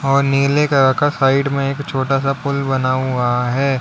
और नीले colour side में एक छोटा सा पुल बना हुआ है।